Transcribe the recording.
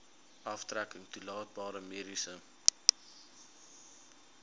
aftrekking toelaatbare mediese